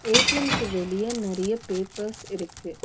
ஏ_டி_எம்க்கு வெளிய நறிய பேப்பர்ஸ் இருக்கு.